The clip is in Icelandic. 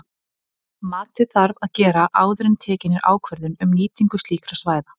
Matið þarf að gera áður en tekin er ákvörðun um nýtingu slíkra svæða.